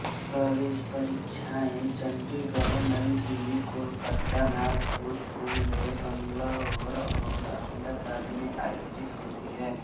प्रवेश परीक्षाएं चंडीगढ़ नई दिल्ली कोलकाता नागपुर पुणे बंगलौर और अहमदाबाद में आयोजित होती हैं